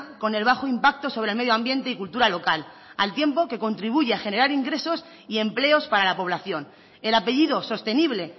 con el bajo impacto sobre el medio ambiente y cultura local al tiempo que contribuye a generar ingresos y empleos para la población el apellido sostenible